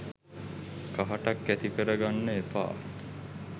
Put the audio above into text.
කහටක් ඇති කර ගන්න එපා